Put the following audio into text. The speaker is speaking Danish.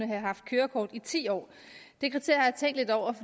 have haft kørekort i ti år